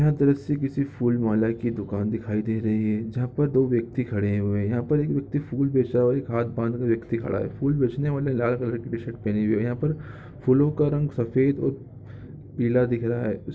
यह दृश्य किसी फूलमाला की दुकान दिखाई दे रही है जहाँ पर दो व्यक्ति खड़े हैं यहाँ पर एक व्यक्ति फूल बेच रहा है एक व्यक्ति खड़ा हुआ है फूल बेचने वाले ज्यादातर व्यक्ति लाल कलर का शर्ट पहने हुए हैं यहाँ पर फूलों का रंग सफेद और पीला दिख रहा हैं उस--